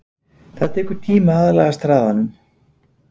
Það tekur tíma til að aðlagast hraðanum.